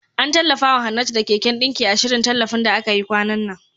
An tallafawa Hannatu da keken ɗinki, a shirin tallafin da aka yi kwanan nan.